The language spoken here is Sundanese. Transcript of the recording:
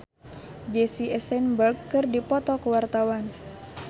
Andre Taulany jeung Jesse Eisenberg keur dipoto ku wartawan